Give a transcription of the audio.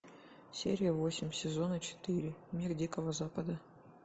серия восемь сезона четыре мир дикого запада